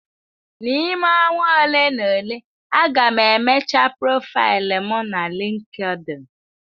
N'ime ọnwa ole na ole, a ga m emecha profaịlụ m na LinkedIn.